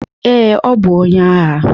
Ee, ọ bụ onye agha.